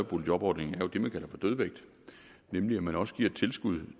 boligjobordningen er jo det man kalder for dødvægt nemlig at man også giver et tilskud